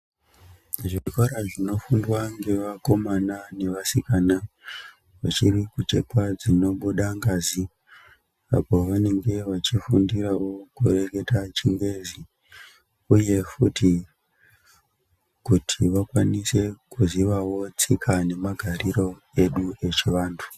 Zvikora zvinofundwa nevakomana nevasikana dziri kuchekwa dzinobuda ngazi Apon pavanenge pachifundirawo mukureketa chingezi uye futi kuti vakwanise kuzivawo tsika nemagariro edu yechivantu.